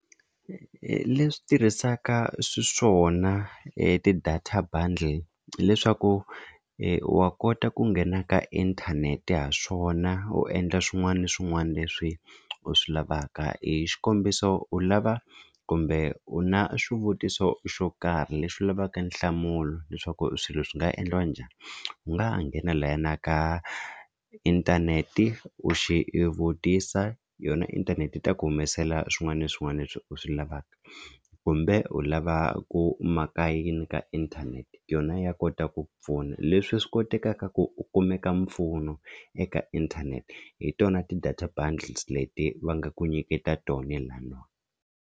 Leswi tirhisaka xiswona ti-data bundle hileswaku wa kota ku nghena ka inthanete ha swona u endla swin'wana na swin'wana leswi u swi lavaka hi xikombiso u lava kumbe u na swivutiso xo karhi lexi u lavaka nhlamulo leswaku swilo swi nga endliwa njhani u nga ha nghena lahayana ka inthanete u xi u vutisa yona inthanete yi ta ku humesela swin'wana na swin'wana leswi u swi lavaka kumbe u lava ku maka yini ka yona ya kota ku pfuna leswi swi kotekaka ku kumeka mpfuno eka inthanete hi tona ti-data bundles leti va nga ku nyiketa tona laniwa.